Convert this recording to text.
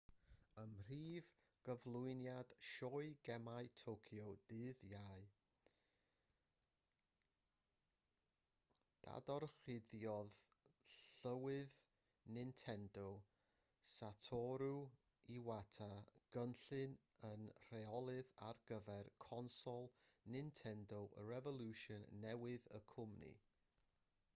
ym mhrif gyflwyniad sioe gemau tokyo ddydd iau dadorchuddiodd llywydd nintendo satoru iwata gynllun y rheolydd ar gyfer consol nintendo revolution newydd y cwmni